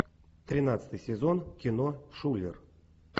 тринадцатый сезон кино шулер